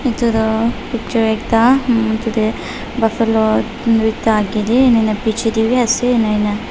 etu tu picture ekta mmh tade buffalo age de aro beche de bi ase ena kuina.